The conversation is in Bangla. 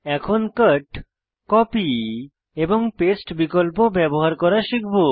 এখন কট কপি এবং পেস্ট বিকল্প ব্যবহার করা শিখব